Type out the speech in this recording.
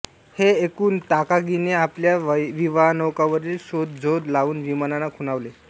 हे ऐकून ताकागीने आपल्या विवानौकांवरील शोधझोत लावून विमानांना खुणावले